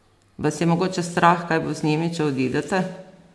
Vas je mogoče strah, kaj bo z njimi, če odidete?